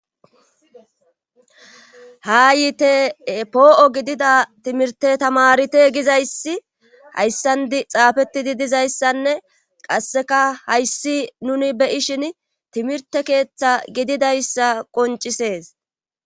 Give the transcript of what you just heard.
haa yiite poo7o gidida timirte tamarite gizayssi hayssandi xaafetidi dizayssanne qasseka hayssi nuni beyishin timirte keeththa gididayssa qoncisees